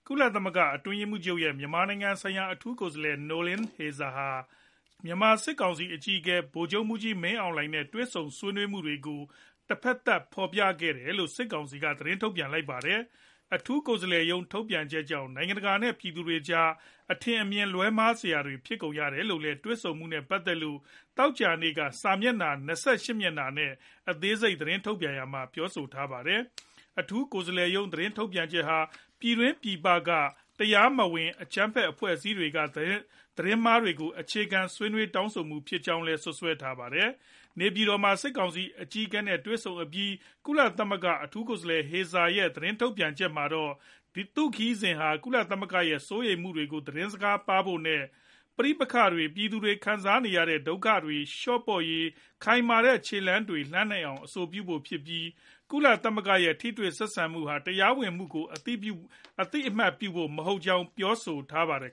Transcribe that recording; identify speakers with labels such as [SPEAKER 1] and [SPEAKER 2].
[SPEAKER 1] ကုလသမဂ္ဂ အတွင်းရေးမှူးချုပ်ရဲ့ မြန်မာနိုင်ငံဆိုင်ရာ အထူးကိုယ်စားလှယ် Noeleen Heyzer ဟာ မြန်မာစစ်ကောင်စီ အကြီးအကဲ ဗိုလ်ချုပ်မှူးကြီး မင်းအောင်လှိုင်နဲ့ တွေ့ဆုံဆွေးနွေးမှုတွေကို တဖက်သတ် ဖော်ပြခဲ့တယ်လို့ စစ်ကောင်စီက သတင်းထုတ်ပြန်လိုက်ပါတယ်။ အထူးကိုယ်စားလှယ်ရုံး ထုတ်ပြန်ချက်ကြောင့် နိုင်ငံတကာနဲ့ ပြည်သူတွေကြား အထင်အမြင် လွဲမှားစရာ ဖြစ်ခဲ့ရတယ်လို့လည်း တွေ့ဆုံမှုနဲ့ ပတ်သက်လို့ သောကြာနေ့က စာမျက်နှာ ၂၈ မျက်နှာနဲ့ အသေးစိတ် သတင်းထုတ်ပြန်ရာမှာ ပြောဆိုထားတာပါ။ အထူးကိုယ်စားလှယ်ရုံး သတင်းထုတ်ပြန်ချက်ဟာ ပြည်တွင်း၊ ပြည်ပက တရားမဝင် အကြမ်းဖက်အဖွဲ့တွေက သတင်းမှားတွေကို အခြေခံ ဆွေးနွေး တောင်းဆိုမှုတွေ ဖြစ်ကြောင်းလည်း စွပ်စွဲထားပါတယ်။ နေပြည်တော်မှာ စစ်ကောင်စီအကြီးအကဲနဲ့ တွေဆုံအပြီး ကုလသမဂ္ဂ အထူးကိုယ်စားလှယ် Heyzer ရဲ့ သတင်းထုတ်ပြန်ချက်မှာတော့ သူ့ခရီးစဉ်ဟာ ကုလသမဂ္ဂရဲ့ စိုးရိမ်မှုတွေကို သတင်းစကားပါးဖို့ နဲ့ ပဋိပက္ခတွေ၊ ပြည်သူတွေ ခံစားနေရတဲ့ ဒုက္ခတွေ လျော့ပါးရေး ခိုင်မာတဲ့ ခြေလှမ်းတွေလှမ်းနိုင်အောင် အဆိုပြုဖို့ဖြစ်ပြီး၊ ကုလသမဂ္ဂရဲ့ ထိတွေ့ဆက်ဆံမှုဟာ တရားဝင်မှုကို အသိအမှတ်ပြုဖို့ မဟုတ်ကြောင်း ပြောဆိုထားပါတယ်